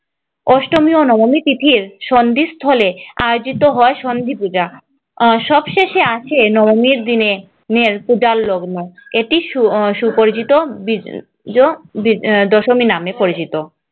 অষ্টমী ও নবমী তিথির সন্ধিস্থলে আয়োজিত হয় সন্ধিপূজা সবশেষে আসে দশমীর দিনের পূজার লগ্ন এটি আহ সুপরিচিত বিজয় দশমী নামে পরিচিত।